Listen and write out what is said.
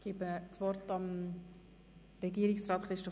Das Wort hat nun Herr Regierungsrat Neuhaus.